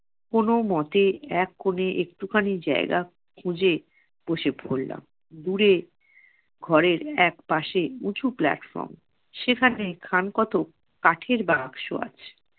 কোনো মতে এক কোণে একটু খানি জায়গা খুঁজে বসে পড়লাম। দূরে ঘরের একপাশে উঁচু platform, সেখানে খান কতক কাঠের বাক্স আছে।